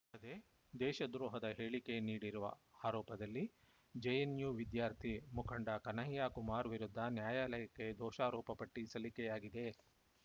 ಅಲ್ಲದೆ ದೇಶದ್ರೋಹದ ಹೇಳಿಕೆ ನೀಡಿರುವ ಆರೋಪದಲ್ಲಿ ಜೆಎನ್‌ಯು ವಿದ್ಯಾರ್ಥಿ ಮುಖಂಡ ಕನ್ಹಯ್ಯ ಕುಮಾರ್‌ ವಿರುದ್ಧ ನ್ಯಾಯಾಲಯಕ್ಕೆ ದೋಷಾರೋಪ ಪಟ್ಟಿಸಲ್ಲಿಕೆಯಾಗಿದೆ